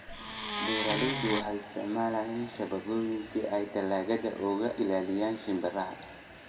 Beeraleydu waxay isticmaalaan shabagyo si ay dalagyada uga ilaaliyaan shimbiraha.